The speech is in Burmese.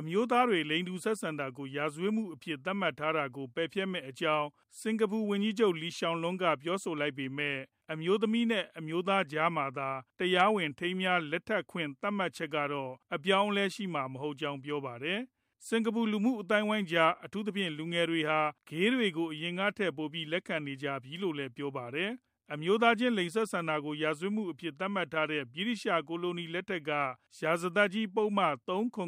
အမျိုးသားတွေ လိင်တူဆက်ဆံတာကို ရာဇဝတ်မှုအဖြစ် သတ်မှတ်ထားတာကို ပယ်ဖျက်မယ့်အကြောင်း စင်ကာပူဝန်ကြီးချုပ် Lee Hsien Loong ကပြောဆိုလိုက်ပေမဲ့ အမျိုးသမီးနဲ့ အမျိုးသားကြားမှာသာ တရားဝင် ထိမ်းမြားလက်ထပ်ခွင့် သတ်မှတ်ချက်ကတော့ အပြောင်းအလဲ ရှိမှာမဟုတ်ကြောင်း ပြောပါတယ်။ စင်ကာပူ လူမှုအသိုင်းအဝိုင်းကြား အထူးသဖြင့် လူငယ်တွေဟာ Gay တွေကို အရင်ထက်ပိုပြီး လက်ခံလာနေကြပြီလို့လည်း ပြောပါတယ်။ အမျိုးသားချင်း လိင်ဆက်ဆံတာကို ရာဇဝတ်မှုအဖြစ် သတ်မှတ်ထားတဲ့ ဗြိတိသျှကိုလိုနီ လက်ထက်က ရာဇသတ်ကြီးပုဒ်မ ၃၇၇ (